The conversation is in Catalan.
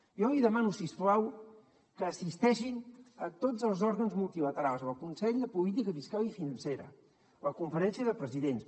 jo li demano si us plau que assisteixin a tots els òrgans multilaterals al consell de política fiscal i financera la conferència de presidents